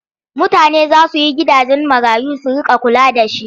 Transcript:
Mutane za su yi gidajen marayu su riƙa kula da shi.